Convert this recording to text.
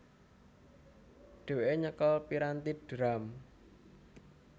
Dhewéke nyekel piranthi drum